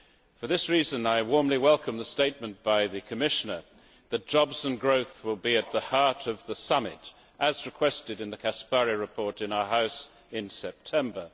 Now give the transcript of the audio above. For this reason, I warmly welcome the statement by the Commissioner that jobs and growth will be at the heart of the Summit, as requested in the Caspary report in our House in September.